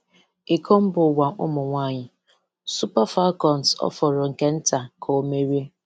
Iko mba ụwa ụmụ nwanyị: Super Falcons ọ fọrọ nke nta ka ọ merie.